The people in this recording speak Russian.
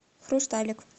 хрусталик